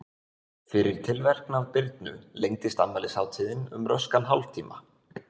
Fyrir tilverknað Birnu lengdist afmælishátíðin um röskan hálftíma.